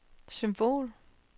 symbol